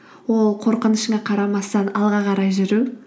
ол қорқынышыңа қарамастан алға қарай жүру